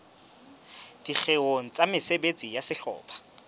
dikgeong tsa mesebetsi ya sehlopha